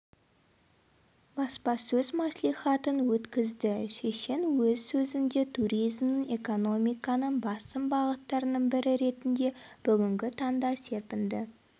баспасөз мәслихатын өткізді шешен өз сөзінде туризмнің экономиканың басым бағыттарының бірі ретінде бүгінгі таңда серпінді